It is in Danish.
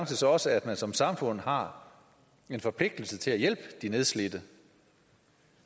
så også at man som samfund har en forpligtelse til at hjælpe de nedslidte